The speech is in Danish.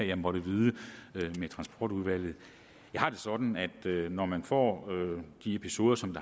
jeg måtte vide med transportudvalget jeg har det sådan at når man får de episoder som